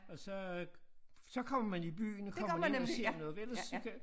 Og så øh så kommer man i byen og kommer man ind og ser noget for ellers så kan